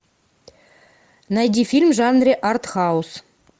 найди фильм в жанре арт хаус